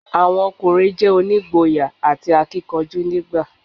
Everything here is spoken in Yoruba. Àwọn ọkùnrin je onígboyà àti akíkanjú nígbà i